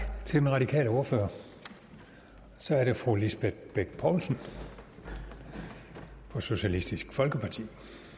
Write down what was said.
til den radikale ordfører så er det fru lisbeth bech poulsen for socialistisk folkeparti